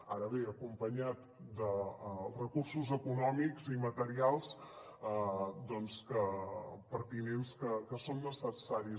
ara bé acompanyat dels recursos econòmics i materials pertinents que són necessaris